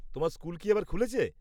তোমার স্কুল কি আবার খুলেছে?